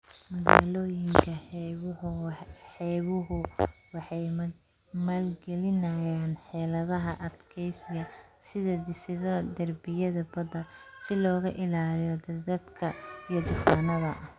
Magaalooyinka xeebuhu waxay maalgelinayaan xeeladaha adkeysiga, sida dhisidda derbiyada badda, si looga ilaaliyo daadadka iyo duufaannada.